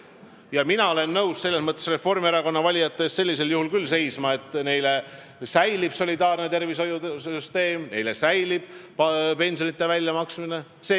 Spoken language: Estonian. Ja mina olen sellisel juhul nõus Reformierakonna valijate eest seisma, et neile säiliks solidaarne tervishoiusüsteem ja pensionite väljamaksmine.